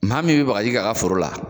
Maa min bɛ bagaji k'a ka foro la